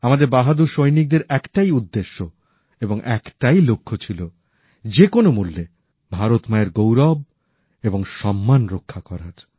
আমাদের বাহাদুর সৈনিকদের একটাই উদ্দেশ্য এবং একটাই লক্ষ্য ছিল যেকোনো মূল্যে ভারত মায়ের গৌরব এবং সম্মান রক্ষা করার